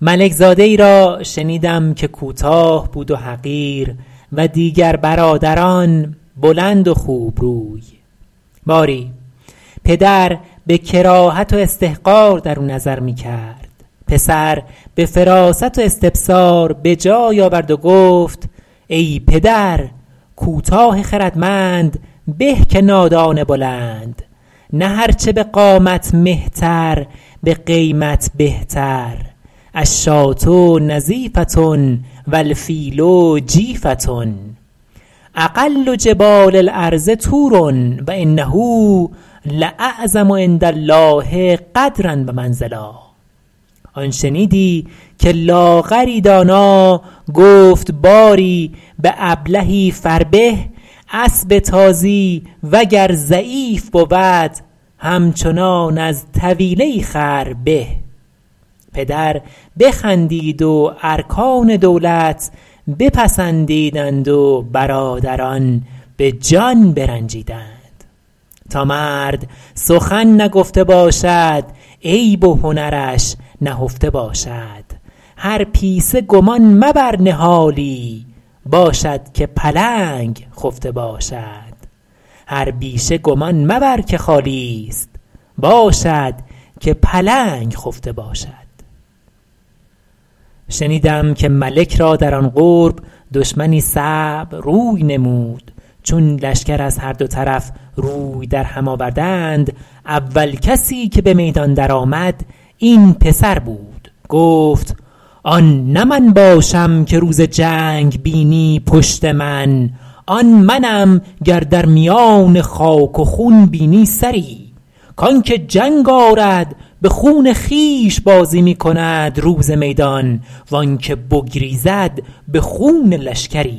ملک زاده ای را شنیدم که کوتاه بود و حقیر و دیگر برادران بلند و خوب روی باری پدر به کراهت و استحقار درو نظر می کرد پسر به فراست و استبصار به جای آورد و گفت ای پدر کوتاه خردمند به که نادان بلند نه هر چه به قامت مهتر به قیمت بهتر الشاة نظیفة و الفیل جیفة اقل جبال الارض طور و انه لاعظم عندالله قدرا و منزلا آن شنیدی که لاغری دانا گفت باری به ابلهی فربه اسب تازی وگر ضعیف بود همچنان از طویله ای خر به پدر بخندید و ارکان دولت پسندیدند و برادران به جان برنجیدند تا مرد سخن نگفته باشد عیب و هنرش نهفته باشد هر پیسه گمان مبر نهالی باشد که پلنگ خفته باشد شنیدم که ملک را در آن قرب دشمنی صعب روی نمود چون لشکر از هر دو طرف روی در هم آوردند اول کسی که به میدان در آمد این پسر بود گفت آن نه من باشم که روز جنگ بینی پشت من آن منم گر در میان خاک و خون بینی سری کانکه جنگ آرد به خون خویش بازی می کند روز میدان و آن که بگریزد به خون لشکری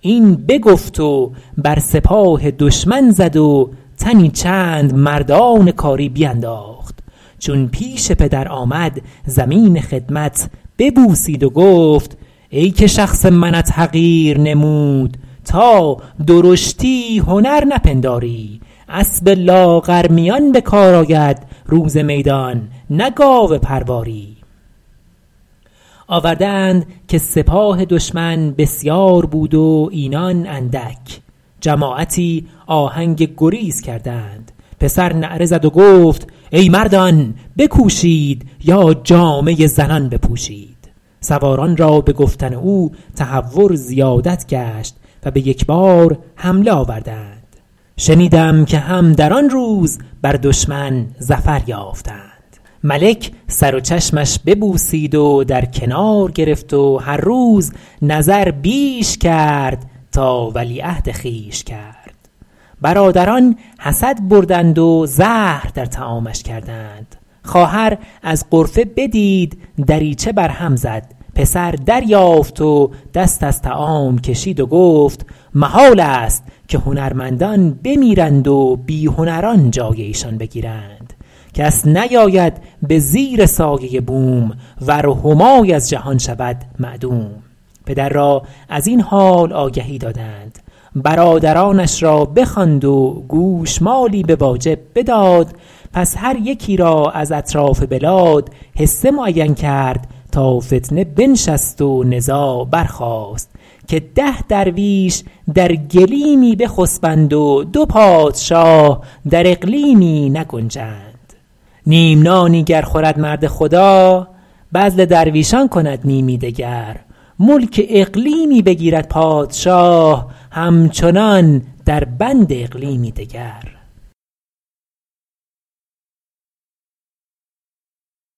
این بگفت و بر سپاه دشمن زد و تنی چند مردان کاری بینداخت چون پیش پدر آمد زمین خدمت ببوسید و گفت ای که شخص منت حقیر نمود تا درشتی هنر نپنداری اسب لاغرمیان به کار آید روز میدان نه گاو پرواری آورده اند که سپاه دشمن بسیار بود و اینان اندک جماعتی آهنگ گریز کردند پسر نعره زد و گفت ای مردان بکوشید یا جامه زنان بپوشید سواران را به گفتن او تهور زیادت گشت و به یک بار حمله آوردند شنیدم که هم در آن روز بر دشمن ظفر یافتند ملک سر و چشمش ببوسید و در کنار گرفت و هر روز نظر بیش کرد تا ولیعهد خویش کرد برادران حسد بردند و زهر در طعامش کردند خواهر از غرفه بدید دریچه بر هم زد پسر دریافت و دست از طعام کشید و گفت محالست که هنرمندان بمیرند و بی هنران جای ایشان بگیرند کس نیاید به زیر سایه بوم ور همای از جهان شود معدوم پدر را از این حال آگهی دادند برادرانش را بخواند و گوشمالی به واجب بداد پس هر یکی را از اطراف بلاد حصه معین کرد تا فتنه بنشست و نزاع برخاست که ده درویش در گلیمی بخسبند و دو پادشاه در اقلیمی نگنجند نیم نانی گر خورد مرد خدا بذل درویشان کند نیمی دگر ملک اقلیمی بگیرد پادشاه همچنان در بند اقلیمی دگر